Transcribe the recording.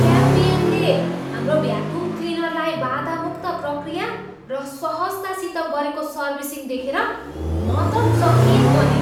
क्याम्बियमले हाम्रो भ्याकुम क्लिनरलाई बाधामुक्त प्रक्रिया र सहजतासित गरेको सर्विसिङ देखेर म त चकित बनेँ।